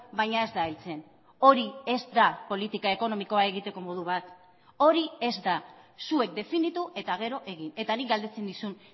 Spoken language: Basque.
baina ez da heltzen hori ez da politika ekonomikoa egiteko modu bat hori ez da zuek definitu eta gero egin eta nik galdetzen nizun